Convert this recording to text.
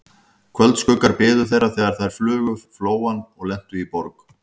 Kvöldskuggar biðu þeirra, þegar þeir flugu yfir Flóann og lentu í Borg